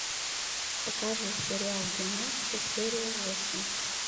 покажи сериал гимнастки серия восемь